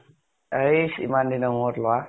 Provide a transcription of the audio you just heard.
এস ইমান দিনৰ মোৰত লʼৰা ।